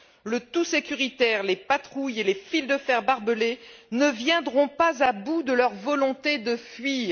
Le tout sécuritaire, les patrouilles et les fils de fer barbelé ne viendront pas à bout de leur volonté de fuir.